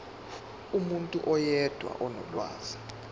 umuntu oyedwa onolwazi